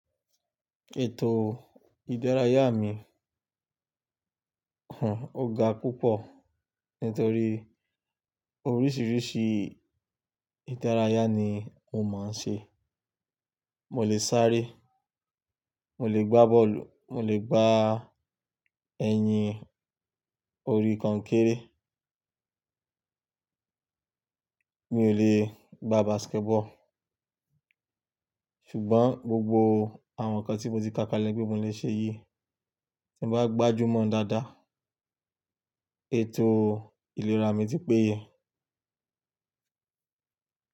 Ètò ìdárayá mi ò ga púpọ̀ nítorí oríṣiríṣi ìdárayá ni mo máa ń ṣe. Mo lè sáré, mo lè gbá bọ́ọ̀lù, mo lè gbá ẹyin orí kọnkéré. Mi ò lè gbá basketball ṣùgbọ́n gbogbo àwọn nǹkan tí mo ti kàkàlẹ̀ pe mo le ṣe yìí, tí bá gbájúmọ̀ dáadáa, ètò ìlera mi ti péye.